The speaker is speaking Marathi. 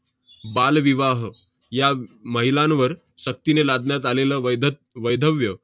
बालविवाह या महिलांवर सक्तीने लादण्यात आलेलं वैधत~ वैधव्य